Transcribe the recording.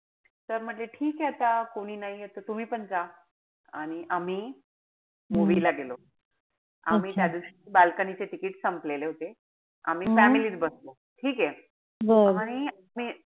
Sir म्हणले ठीकेय आता कोणी नाहीये त तुम्ही पण जा. आणि आम्ही movie ला गेलो. आम्ही त्यादिवशी balcony चे ticket संपले होते. आम्ही family त बसलो. ठीकेय? आणि,